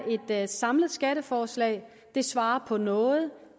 det er et samlet skatteforslag det svarer på noget